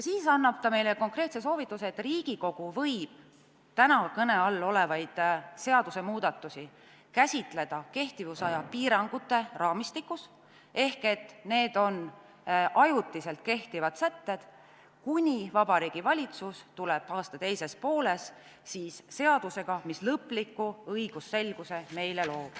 Siis andis ta meile konkreetse soovituse, et Riigikogu võib täna kõne all olevaid seadusemuudatusi käsitleda kehtivusaja piiramise raamistikus ehk need on ajutiselt kehtivad sätted, kuni Vabariigi Valitsus tuleb aasta teises pooles seadusega, mis lõpliku õigusselguse loob.